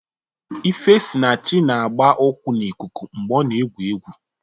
Ifesinachi na-agba ụkwụ n'ikuku mgbe ọ na-egwu egwu.